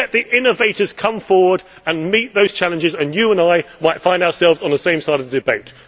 Let the innovators come forward and meet those challenges, and you and I might find ourselves on the same side in the debate.